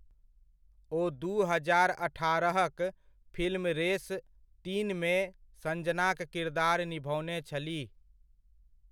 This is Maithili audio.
ओ दू हजार अठारह'क फिल्म रेस तीनमे संजनाक किरदार निभओने छलीह।